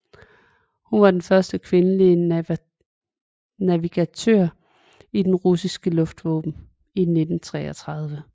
Hun var den første kvindelige navigatør i det russiske luftvåben i 1933